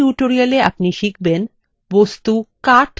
in tutorialতে আপনি শিখবেন: